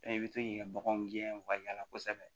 i bɛ to k'i ka baganw gɛn u ka yaala kosɛbɛ